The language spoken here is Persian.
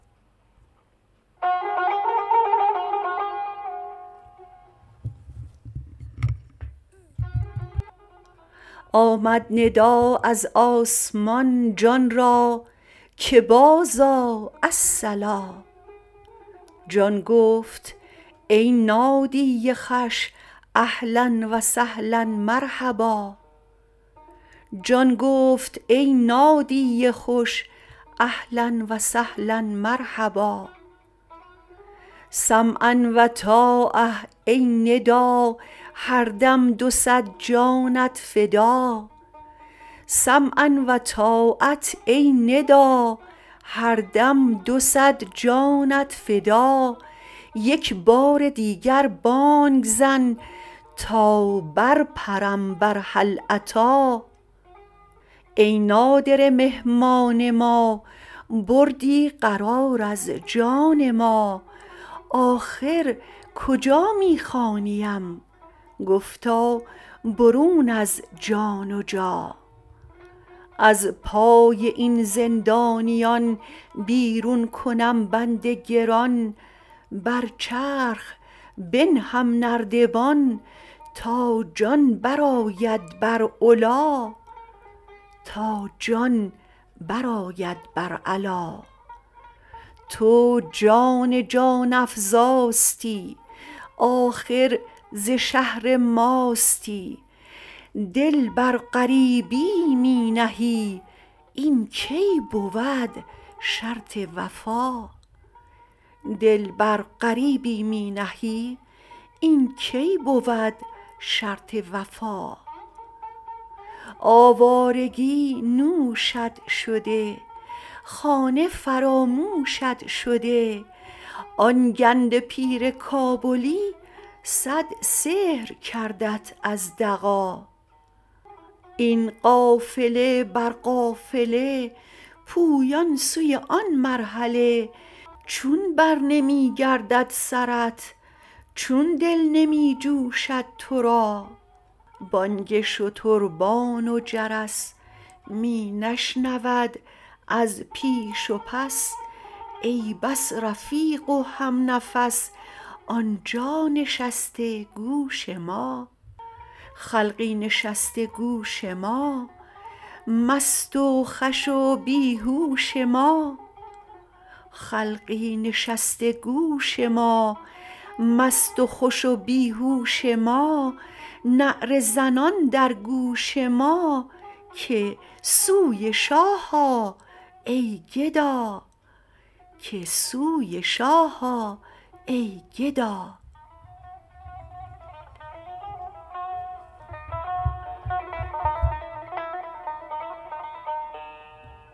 آمد ندا از آسمان جان را که بازآ الصلا جان گفت ای نادی خوش اهلا و سهلا مرحبا سمعا و طاعه ای ندا هر دم دو صد جانت فدا یک بار دیگر بانگ زن تا برپرم بر هل اتی ای نادره مهمان ما بردی قرار از جان ما آخر کجا می خوانیم گفتا برون از جان و جا از پای این زندانیان بیرون کنم بند گران بر چرخ بنهم نردبان تا جان برآید بر علا تو جان جان افزاستی آخر ز شهر ماستی دل بر غریبی می نهی این کی بود شرط وفا آوارگی نوشت شده خانه فراموشت شده آن گنده پیر کابلی صد سحر کردت از دغا این قافله بر قافله پویان سوی آن مرحله چون برنمی گردد سرت چون دل نمی جوشد تو را بانگ شتربان و جرس می نشنود از پیش و پس ای بس رفیق و همنفس آن جا نشسته گوش ما خلقی نشسته گوش ما مست و خوش و بی هوش ما نعره زنان در گوش ما که سوی شاه آ ای گدا